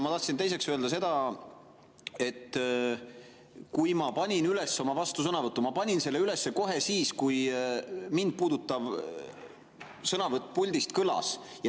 Ma tahtsin teiseks öelda seda, et ma panin üles oma vastusõnavõtu kohe siis, kui mind puudutav sõnavõtt puldist kõlas.